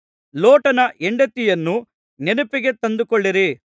ಲೋಟನ ಹೆಂಡತಿಯನ್ನು ನೆನಪಿಗೆ ತಂದುಕೊಳ್ಳಿರಿ